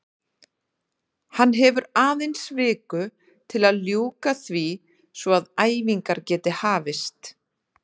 Hann hefur aðeins viku til að ljúka því svo að æfingar geti hafist.